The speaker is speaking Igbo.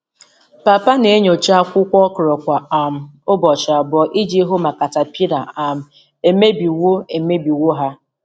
Papa na-enyocha akwụkwọ okra kwa um ụbọchị abụọ iji hụ ma caterpillar um emebiwo emebiwo ha.